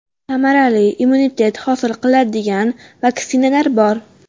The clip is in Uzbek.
Samarali immunitet hosil qiladigan vaksinalar bor.